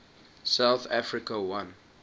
south africa won